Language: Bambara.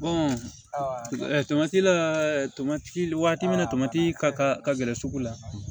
tomati la tomati waati min na tomati ka ka gɛrɛ sugu la